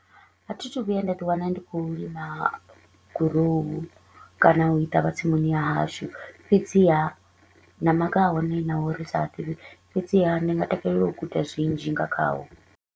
A thi thu vhuya nda ḓi wana ndi kho u lima grow kana u i tavha tsimuni ya hashu. Fhedziha na maga a hone naho ri sa a ḓivhi, fhedziha ndi nga takalela u guda zwinzhi nga khawo.